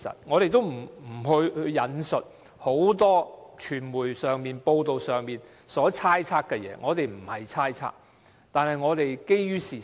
我們沒有引述很多傳媒報道所猜測的事情，我們不是猜測，而是基於事實。